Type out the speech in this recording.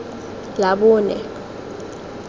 labone